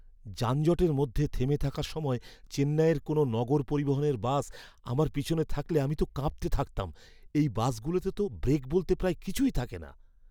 যানজটের মধ্যে থেমে থাকার সময় চেন্নাইয়ের কোনও নগর পরিবহণের বাস আমার পেছনে থাকলে আমি তো কাঁপতে থাকতাম। এই বাসগুলোতে তো ব্রেক বলতে প্রায় কিছুই থাকে না!